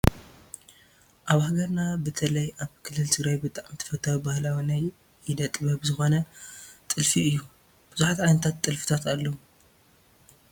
ኣብ ሃገርና ብተለይ ኣብ ክልል ትግራይ ብጣዕሚ ተፈታዊ ባህላዊ ናይ ኢደ - ጥበብ ዝኾነ ጥልፊ እዩ፡፡ ብዙሓት ዓይነታት ጥልፍታት ኣለው፡፡